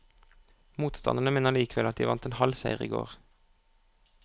Motstanderne mener likevel at de vant en halv seier i går.